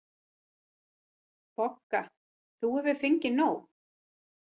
BOGGA: Þú hefur fengið nóg.